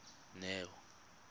neo